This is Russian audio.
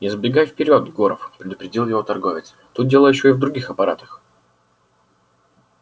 не забегай вперёд горов предупредил его торговец тут дело ещё и в других аппаратах